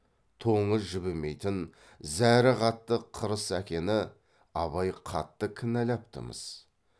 тоңы жібімейтін зәрі қатты қырыс әкені абай қатты кінәлапты мыс